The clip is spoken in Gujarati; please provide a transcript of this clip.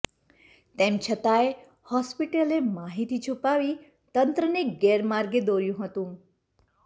તેમ છતાંય હોસ્પિટલે માહિતી છૂપાવી તંત્રને ગેરમાર્ગે દોર્યું હતું